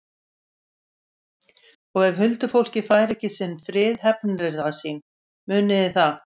Og ef huldufólkið fær ekki sinn frið hefnir það sín, munið þið það.